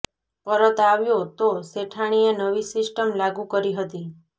પરત આવ્યો તો શેઠાણીએ નવી સિસ્ટમ લાગુ કરી હતી